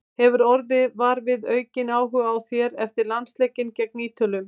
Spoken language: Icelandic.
Hefurðu orðið var við aukinn áhuga á þér eftir landsleikinn gegn Ítölum?